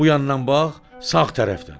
Bu yandan bax, sağ tərəfdən.